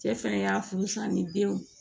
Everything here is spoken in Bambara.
Cɛ fɛnɛ y'a furu san ni denw